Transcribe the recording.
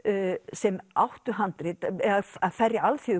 sem áttu handrit eða færri